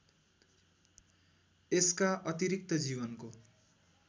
यसका अतिरिक्त जीवनको